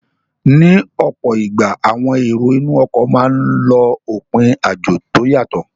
Ní ọ̀pọ̀ ìgbà, àwọn èrò inú ọkọ̀ máa n lọ òpin àjò tó yàtọ